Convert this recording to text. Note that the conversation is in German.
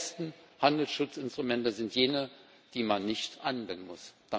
Die besten Handelsschutzinstrumente sind jene, die man nicht anwenden muss.